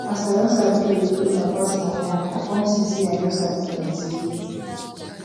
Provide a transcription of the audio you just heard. as i don sabi to dey follow my partner yan i come see say i no sabi plenty